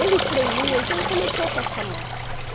Ele tremia, então ele começou a passar mal.